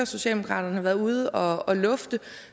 socialdemokraterne har været ude at lufte